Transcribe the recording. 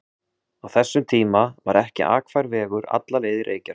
Á þessum tíma var ekki akfær vegur alla leið í Reykjarfjörð sem